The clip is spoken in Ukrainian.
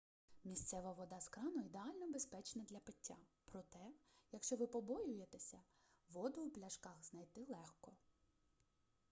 місцева вода з крану ідеально безпечна для пиття проте якщо ви побоюєтеся воду у пляшках знайти легко